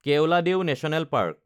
Keoladeo national park